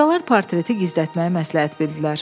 Qocalar portreti gizlətməyi məsləhət bildilər.